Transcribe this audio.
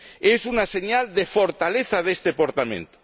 Es una señal de fortaleza de este Parlamento.